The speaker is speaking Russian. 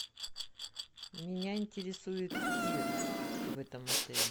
меня интересует тир в этом отеле